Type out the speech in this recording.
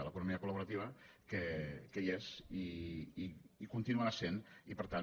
l’economia col·laborativa que hi és i hi continuarà sent i per tant